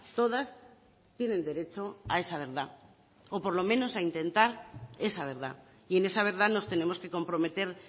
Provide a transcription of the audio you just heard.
todas tienen derecho a esa verdad o por lo menos a intentar esa verdad y en esa verdad nos tenemos que comprometer